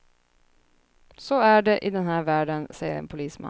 Så är det i den här världen, säger en polisman.